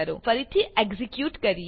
ફરીથી એક્ઝીક્યુટ કરીએ